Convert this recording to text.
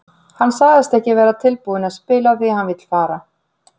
Hann sagðist ekki vera tilbúinn að spila því að hann vill fara.